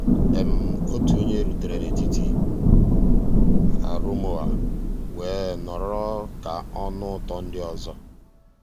ótú ónyé rùtérè n'étítì àrụ́móóá weé nọ̀rọ́ ká ọ́ nụ́ ụtọ́ ndị́ ọ́zọ́.